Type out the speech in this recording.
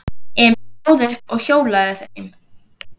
Emil stóð upp og hjólaði heim.